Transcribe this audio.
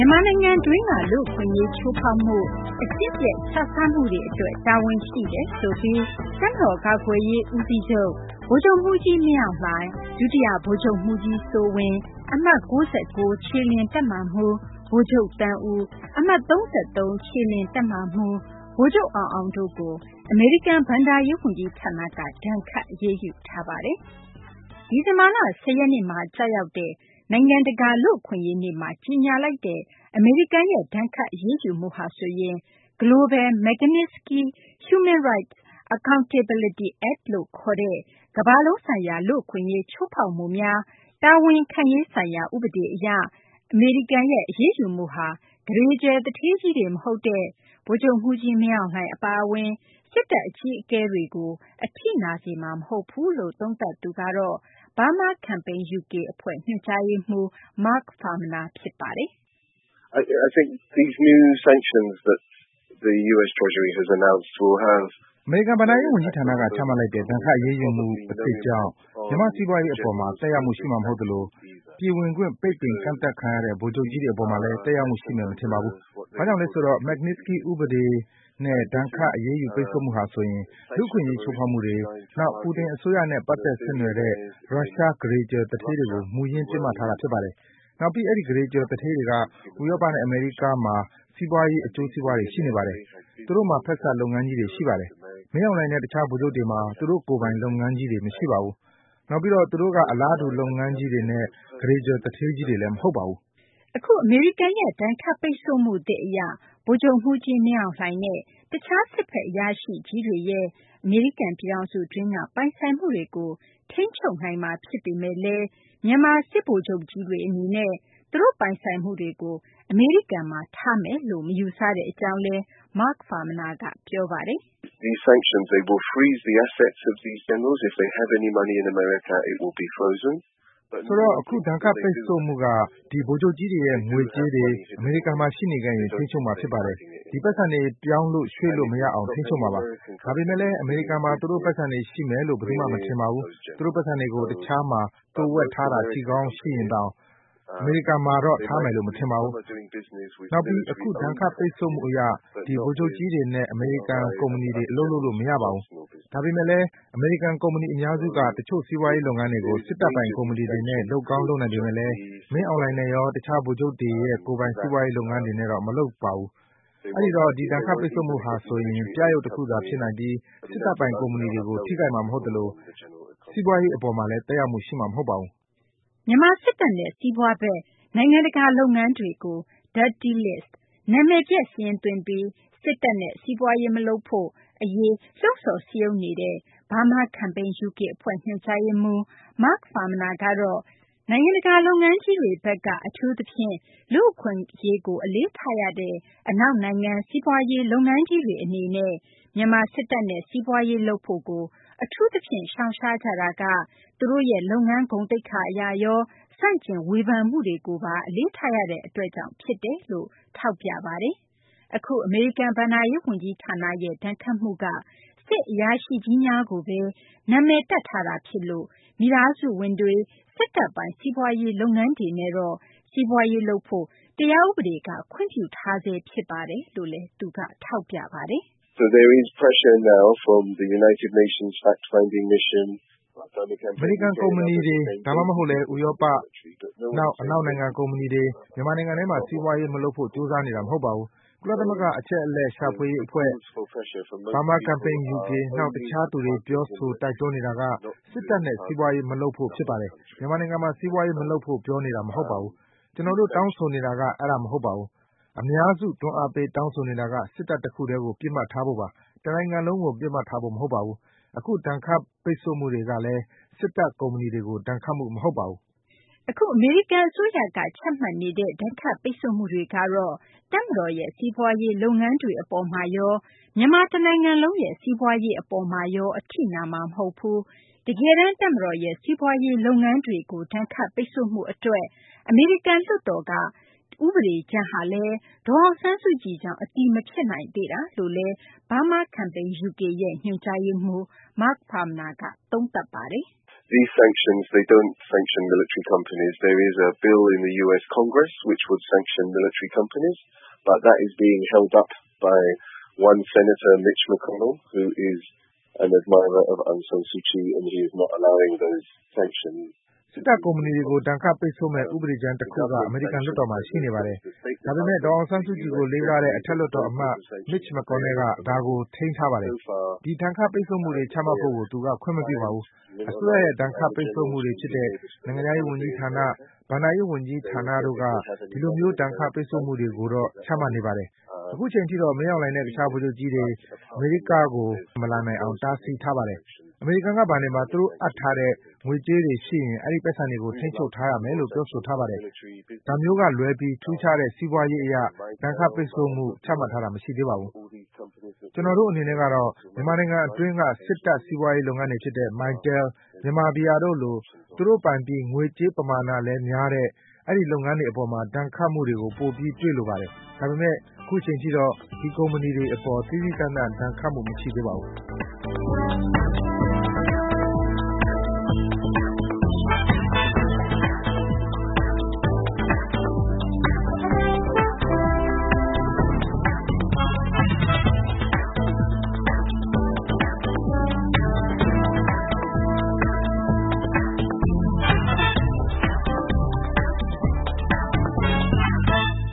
ြန်မာနိုင်ငံတွင်းက လူ့အခွင့်အရေး ချိုးဖောက်မှု၊ အကျင့်ပျက် ခြစားမှုတွေ အတွက် တာဝန်ရှိတယ်ဆိုပြီး တပ်မတော် ကာကွယ်ရေး ဦးစီးချုပ် ဗိုလ်ချုပ်မှူးကြီး မင်းအောင်လှိုင်၊ ဒုတိယ ဗိုလ်ချုပ်မှူးကြီး စိုးဝင်း၊ အမှတ် ၉၉ ခြေလျင် တပ်မမှူး ဗိုလ်ချုပ် သန်းဦး၊ အမှတ် ၃၃ ခြေလျင်တပ်မမှူး ဗိုလ်ချုပ် အောင်အောင် တို့ကို အမေရိကန် ဘဏ္ဍာရေး ဝန်ကြီးဌာနက ဒဏ်ခတ် အရေးယူပါတယ်။ ဒီဇင်ဘာလ ၁၀ ရက်နေ့မှာ ကျရောက်တဲ့ နိုင်ငံတကာ လူ့အခွင့်အရေး နေ့မှာ ကြေညာလိုက်တဲ့ ဒဏ်ခတ် အရေးယူမှုဟာဆိုရင် Global Magnitsky Human Rights Accountability Act လို့ခေါ်တဲ့ ကမ္ဘာလုံးဆိုင်ရာ လူ့အခွင့်အရေးချိုးဖောက်မှုများ တာဝန်ခံရေး ဆိုင်ရာ ဥပဒေ အရ အမေရိကန်ရဲ့ အရေးယူမှုဟာ ကုဋေကြွယ် သူဌေးကြီးတွေ မဟုတ်တဲ့ ဗိုလ်ချုပ်မှူးကြီး မင်းအောင်လှိုင် အပါအဝင် စစ်တပ် အကြီးအကဲတွေကို အထိနာစေမှာ မဟုတ်ဘူးလို့ သုံးသပ်သူကတော့ Burma Campaign UK အဖွဲ့ ညွှန်ကြားရေးမှူး Mark Farmaner ဖြစ်ပါတယ်။ “ အမေရိကန် ဘဏ္ဍာရေး ဝန်ကြီးဌာနက ချမှတ်လိုက်တဲ့ ဒဏ်ခတ် အရေးယူမှု အသစ်ကြောင့် မြန်မာ့ စီးပွားရေး အပေါ်မှာ သက်ရောက်မှု ရှိမှာ မဟုတ်သလို၊ ပြည်ဝင်ခွင့် ပိတ်ပင်ကန့်သတ်ခံရတဲ့ ဗိုလ်ချုပ်ကြီးတွေ အပေါ်မှာလည်း သက်ရောက်မှု ရှိမယ် မထင်ပါဘူး။ ဘာကြောင့်လဲ ဆိုတော့ Magnitsky စနစ်လို့ ခေါ်တဲ့ စနစ်အရ ဒဏ်ခတ် ပိတ်ဆို့မှုဟာ ဆိုရင် လူ့အခွင့်အရေး ချိုးဖောက်မှုတွေ၊ နောက် Putin အစိုးရနဲ့ ပတ်သက်ဆက်နွယ်တဲ့ ရုရှား ကုဋေကြွယ် သူဌေးကြီးတွေကို မူရင်း ပစ်မှတ်ထားတာ ဖြစ်ပါတယ်။ နောက်ပြီး အဲဒီ ကုဋေကြွယ် သူဌေးကြီးတွေက ဥရောပနဲ့ အမေရိကမှာ စီးပွားရေး အကျိုးစီးပွားတွေ ရှိနေပါတယ်။ သူတို့မှာ ဖက်စပ် လုပ်ငန်းကြီးတွေ ရှိပါတယ်။ မင်းအောင်လှိုင်နဲ့ တခြား ဗိုလ်ချုပ်တွေမှာ သူတို့ပိုင် လုပ်ငန်းကြီးတွေ မရှိပါဘူး။ နောက်ပြီးတော့ သူတို့က အလားတူ လုပ်ငန်းကြီးတွေနဲ့ ကုဋေကြွယ် သူဌေးကြီးတွေလည်း မဟုတ်ပါဘူး။ ” အခု အမေရိကန်ရဲ့ ဒဏ်ခတ်ပိတ်ဆို့မှုသစ် အရ ဗိုလ်ချုပ်မှူးကြီး မင်းအောင်လှိုင်နဲ့ တခြား စစ်ဘက် အရာရှိကြီးတွေရဲ့ အမေရိကန် ပြည်ထောင်စု အတွင်းက ပိုင်ဆိုင်မှုတွေကို ထိန်းချုပ်နိုင်မှာ ဖြစ်ပေမယ့်လည်း မြန်မာ စစ်ဗိုလ်ချုပ်ကြီးတွေ အနေနဲ့ သူတို့ပိုင်ဆိုင်မှုတွေကို အမေရိကန်မှာ ထားရှိမယ်လို့ မယူဆတဲ့ အကြောင်းလည်း Mark Farmaner က ပြောပါတယ်။ “ ဆိုတော့ အခု ဒဏ်ခတ် ပိတ်ဆို့မှုက ဒီ ဗိုလ်ချုပ်ကြီးတွေရဲ့ ငွေကြေးတွေ အမေရိကန်မှာ ရှိနေခဲ့ရင် ထိန်းချုပ်မှာ ဖြစ်ပါတယ်။ ဒီ ပိုက်ဆံတွေ ပြောင်းလို့ ရွှေ့လို့ မရေအောင် ထိန်းချုပ်မှာပါ။ ဒါပေမယ့်လည်း အမေရိကန်မှာ သူတို့ ပိုက်ဆံတွေ ရှိမယ်လို့ ဘယ်သူမှ မထင်ပါဘူး။ သူတို့ ပိုက်ဆံတွေကို တခြားမှာ သိုဝှက်ထားတာ ရှိရင်တောင် အမေရိကန်မှာတော့ ထားမယ်လို့ မထင်ပါဘူး။ နောက်ပြီး အခု ဒဏ်ခတ် ပိတ်ဆို့မှု အရ ဒီ ဗိုလ်ချုပ်ကြီးတွေနဲ့ အမေရိကန် ကုမ္ပဏီတွေ အလုပ်လုပ်လို့ မရပါဘူး။ ဒါပေမယ့်လည်း အမေရိကန် ကုမ္ပဏီ အများစုက တချို့ စီးပွားရေး လုပ်ငန်းတွေကို စစ်တပ်ပိုင် ကုမ္ပဏီတွေနဲ့ လုပ်ကောင်း လုပ်နိုင်ပေမယ့်လည်း မင်းအောင်လှိုင်နဲ့ရော တခြား ဗိုလ်ချုပ်တွေရဲ့ ကိုယ်ပိုင် စီးပွားရေး လုပ်ငန်းတွေနဲ့တော့ မလုပ်ပါဘူး။ အဲဒီတော့ ဒီဒဏ်ခတ်ပိတ်ဆို့မှုဟာ ဆိုရင် ပြယုဂ် တခုသာ ဖြစ်နိုင်ပြီး စစ်တပ်ပိုင် ကုမ္ပဏီတွေကေို ထိခိုက်မှာ မဟုတ်သလို စီးပွားရေး အပေါ်မှာလည်း သက်ရောက်မှု ရှိမှာ မဟုတ်ပါဘူး။ ” မြန်မာ စစ်တပ်နဲ့ စီးပွားဖက် နိုင်ငံတကာ လုပ်ငန်းတွေကို Dirty List နာမည်ပျက်စာရင်းသွင်းပြီး မြန်မာ စစ်တပ်နဲ့ စီးပွားရေး မလုပ်ဖို့ အရေး လှုံ့ဆော် စည်းရုံးနေတဲ့ Burma Campaign UK အဖွဲ့ ညွှန်ကြားရေးမှူး Mark Farmaner ကတော့ နိုင်ငံတကာ လုပ်ငန်းကြီးတွေဘက်က အထူးသဖြင့် လူ့အခွင့်အရေးကို အလေးထားရတဲ့ အနောက်နိုင်ငံက စီးပွားရေး လုပ်ငန်းကြီးတွေ အနေနဲ့ကတော့ မြန်မာ စစ်တပ်နဲ့ စီးပွားရေး လုပ်ဖို့ကို အထူးသဖြင့် ရှောင်ရှားကြတာက သူတို့ရဲ့ လုပ်ငန်း ဂုဏ်သိက္ခာ အရရော၊ ဆန့်ကျင် ဝေဖန်မှုတွေကိုပါ အလေးထားရတဲ့ အတွက်ကြောင့် ဖြစ်တယ်လို့လည်း သူက ထောက်ပြပါတယ်။ အခု အမေရိကန် ဘဏ္ဍာရေး ဝန်ကြီးဌာနရဲ့ ဒဏ်ခတ်မှုက စစ်အရာရှိကြီးများကိုဘဲ နာမည်တပ် ထားတာ ဖြစ်လို့ သူတို့ မိသားစုဝင်တွေ စစ်တပ်ပိုင် စီးပွားရေး လုပ်ငန်းတွေနဲ့တော့ စီးပွားရေး လုပ်ဖို့ တရားဥပဒေက ခွင့်ပြုထားဆဲ ဖြစ်တယ်လို့လည်း သူက ပြောပါတယ်။ “ အမေရိကန် ကုမ္ပဏီတွေ ဒါမှမဟုတ်လည်း ဥရောပ - နောက် အနောက် နိုင်ငံ ကုမ္ပဏီတွေ မြန်မာနိုင်ငံထဲမှာ စီးပွားရေး မလုပ်ဖို့ ကြိုးစားနေကြတာ မဟုတ်ပါဘူး။ ကုလသမဂ္ဂ အချက်အလက်ရှာ အဖွဲ့၊ Burma Campaign UK နောက် တခြားသူတွေက ပြောဆို တိုက်တွန်းနေတာက စစ်တပ်နဲ့ စီးပွားရေး မလုပ်ဖို့ ဖြစ်ပါတယ်။ မြန်မာနိုင်ငံမှာ စီးပွားရေး မလုပ်ဖို့ ပြောနေတာ မဟုတ်ပါဘူး။ ကျနော်တို့ တောင်းဆိုနေတာ အဲဒါ မဟုတ်ပါဘူး။ အများစု တွန်းအားပေး တောင်းဆိုနေတာက စစ်တပ် တခုတည်းကို ပစ်မှတ်ထားဖို့ပါ၊ တနိုင်ငံလုံးကို ပစ်မှတ်ထားဖို့ မဟုတ်ပါဘူး။ အခု ဒဏ်ခတ်ပိတ်ဆို့မှုတွေကလည်း စစ်တပ် ကုမ္ပဏီတွေကို ဒဏ်ခတ်မှု မဟုတ်ပါဘူး။ ” အခု အမေရိကန် အစိုးရက ချမှတ်နေတဲ့ ဒဏ်ခတ်ပိတ်ဆို့မှုတွေကတော့ တပ်မတော်ရဲ့ စီးပွားရေး လုပ်ငန်းတွေ အပေါ်မှာရော မြန်မာ တနိုင်ငံလုံးရဲ့ စီးပွားရေး အပေါ်မှာရော အထိနာမှာ မဟုတ်ဘူး၊ တကယ်တန်း တပ်မတော်ရဲ့ စီးပွားရေး လုပ်ငန်းတွေကို ဒဏ်ခတ်ပိတ်ဆို့မှု အတွက် အမေရိကန် လွှတ်တော်က ဥပဒေကြမ်းကလည်း ဒေါ်အောင်ဆန်းစုကြည်ကြောင့် အတည်မဖြစ်နိုင်သေးတာလို့လည်း Burma Campaign UK ရဲ့ ညွှန်ကြားရေးမှူး Mark Farmaner က သုံးသပ်ပါတယ်။ “ စစ်တပ် ကုမ္ပဏီတွေကို ဒဏ်ခတ်ပိတ်ဆို့မယ့် ဥပဒေကြမ်း တခုက အမေရိကန် လွှတ်တော်မှာ ရှိနေပါတယ်။ ဒါပေမယ့် ဒေါ်အောင်ဆန်းစုကြည်ကို လေးစားတဲ့ အထက်လွှတ်တော် အမတ် Mitch McConnell က ဒါကို ထိန်းထားပါတယ်။ ဒီ ဒဏ်ခတ်ပိတ်ဆို့မှုတွေ ချမှတ်ဖို့ကို သူက ခွင့်မပြုပါဘူး။ အစိုးရရဲ့ ဒဏ်ခတ်ပိတ်ဆို့မှုတွေ ဖြစ်တဲ့ နိုင်ငံခြားရေး ဝန်ကြီးဌာန၊ ဘဏ္ဍာရေး ဝန်ကြီးဌာနတို့က ဒီလိုမျိုး ဒဏ်ခတ် ပိတ်ဆို့မှုတွေ ကိုတော့ ချမှတ်နေပါတယ်။ အခုအချိန်ထိတော့ မင်းအောင်လှိုင်နဲ့ တခြား ဗိုလ်ချုပ်ကြီးတွေ အမေရိက မလာနိုင်အောင် တားဆီးထားပါတယ်။ အမေရိကန်က ဘဏ်တွေမှာ သူတို့ အပ်ထားတဲ့ ငွေကြေးတွေ ရှိရင် အဲဒီ ပိုက်ဆံတွေကို ထိန်းချုပ် ရယူထားမယ်လို့ ပြောဆိုထားပါတယ်။ ဒါမျိုးက လွဲပြီး ထူးခြားတဲ့ စီးပွားရး အရ ဒဏ်ခတ် ပိတ်ဆို့မှု ချမှတ်ထားတာ မရှိသေးပါဘူး။ ကျနော်တို့ အနေနဲ့ကတော့ မြန်မာနိုင်ငံတွင်းက စစ်တပ် စီးပွားရေး လုပ်ငန်းတွေ ဖြစ်တဲ့ Mytel ၊ Myanmar Beer တို့လို သူတို့ပိုင်ပြီး ငွေကြေးပမာဏလည်း များတဲ့ ဒီ လုပ်ငန်းတွေ အပေါ်မှာ ဒဏ်ခတ်မှုတွေ ပိုပြီး တွေ့လိုပါတယ်။ ဒါပေမယ့် အခုအချိန်ထိတော့ ဒီ ကုမ္ပဏီတွေ အပေါ် သီးသီးသန့်သန့် ဒဏ်ခတ်မှု မရှိသေးပါဘူး။ ”